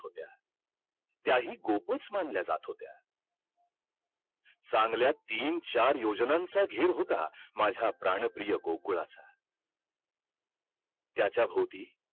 तू ना art science आणखी commerce